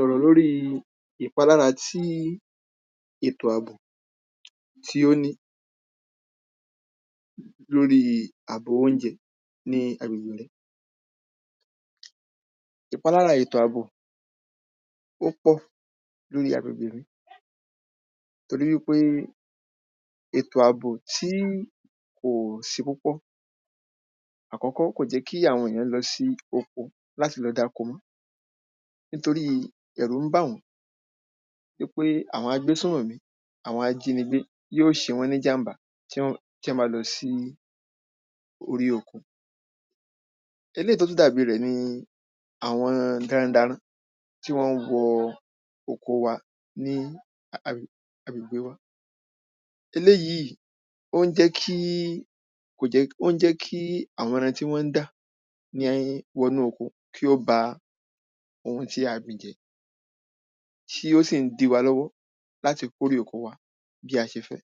Ò̩rò̩ lóri ìpálára tí ètò àbùn tí ó ní lóri àbòrò óúnje̩ ní um Ìpálára ètò àbò ó pò̩ lóri àgbègbè lú torí wípé ètò àbò tí kò s̩e kókó. Àkó̩kó̩, kò je̩ kí àwo̩n èyán lo̩ sí oko láti lo̩ dáko mó̩ nítorí è̩rú n bà wó̩n wípé àwo̩n agbésó̩wè̩ mí àwo̩n ajínigbé yí ó s̩e wó̩n ní íjàmbá um tí wó̩n bá lo̩ sí orí oko. Eléyìí tó tún dà bí rè̩ ni àwo̩n gírándarán tí wó̩n wo̩ oko wa ní um agbègbè wa. Eléyì ó n jé̩ kí kò je̩ ó n jé̩ kí àwo̩n e̩ran tí wó̩n dá ní wo̩ nú oko kí ó ba ohun tí a gbìn jé̩, tí ó sìn dí wa ló̩wó̩ láti kó rè oko wá bí a s̩e fé̩.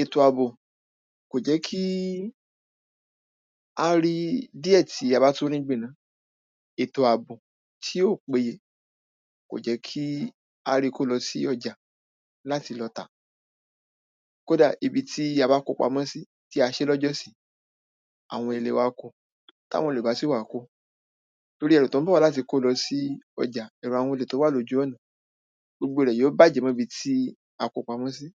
Ètò àbò kò jé̩ kí á rí díè̩ tí a bá tún rí gbìn náà. Ètò àbò tí ò pe kò je̩ kí á ri kó lo̩ sí ò̩jà láti lo̩ tà. Kódà, ibi tí a bá kó pamó̩ sí, tí a s̩é̩ ló̩jó̩sí, àwo̩n olè wá ko. tá wo̩n òlè bá sì wà ko, torí e̩rù tó ń bò̩ wá láti kó lo̩ sí o̩jà è̩ru àwo̩n olè tó wà lójú ó̩nà gbogbo rè̩ yí ó bàjé̩ mó̩ bi tí a ko pamó̩ sí.